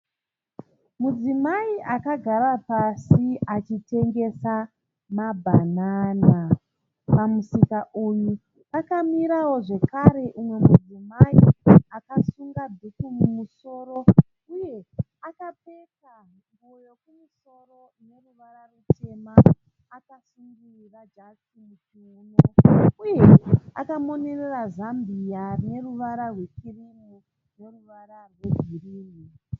Mudzimai akagara pasi achitengesa mabhanana. Pamusika uyu pakamirawo zvekare umwe mudzimai akasunga dhuku mumusoro uye akapfeka nguwo yekumusoro ine ruvara rutema akasungirira jasi muchiuno uye akamonerera zambia rine ruvara rwekirimu neruvara rwegirinhi.